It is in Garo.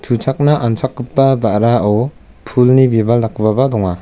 uchakna anchakgipa ba·rao pulni bibal dakgipaba donga.